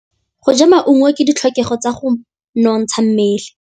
Go ja maungo ke ditlhokegô tsa go nontsha mmele.